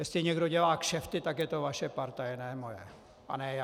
Jestli někdo dělá kšefty, tak je to vaše partaj, ne moje a ne já.